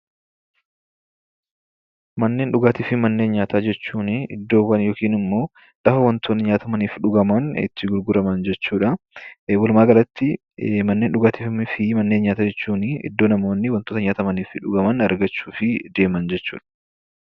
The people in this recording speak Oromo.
Manneen dhugaatii manneen nyaataa jechuun iddoowwan yookiin lafa wantoonni nyaatamanii fi dhuguman itti gurguraman jechuudha. Iddoo kanas namoonni nyaataa fi dhugaatii argachuuf deemanidha.